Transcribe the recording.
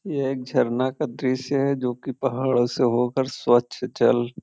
ये एक झरना का दृश्य है जो कि पहाड़ो से हो कर स्वच्छ जल--